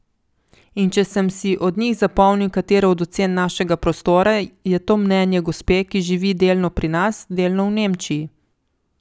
In če sem si od njih zapomnil katero od ocen našega prostora, je to mnenje gospe, ki živi delno pri nas, delno v Nemčiji.